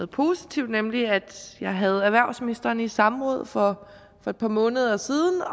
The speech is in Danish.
positivt nemlig at jeg havde erhvervsministeren i samråd for et par måneder siden og